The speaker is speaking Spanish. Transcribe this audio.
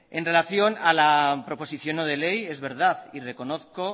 en relación a la proposición no de ley es verdad y reconozco